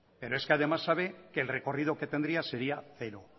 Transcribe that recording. pero es que además sabe que el recorrido que tenía sería cero